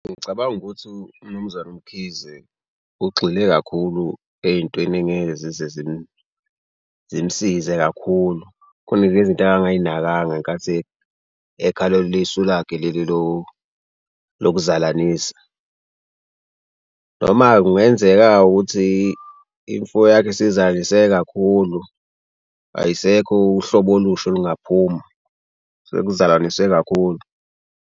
Ngicabanga ukuthi umnumzane uMkhize ugxile kakhulu ey'ntweni engeke zize zimsize kakhulu khona ezinye izinto angangayinakanga ngenkathi ekhalela isu lakhe leli lokuzalanisa noma-ke kungenzeka-ke ukuthi imfuyo yakhe isizalise kakhulu ayisekho uhlobo olusho olungaphuma, sekuzalanise kakhulu.